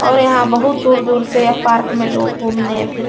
और यहाँ बोहोत दूर-दूर से पार्क लोग घूमने फिर --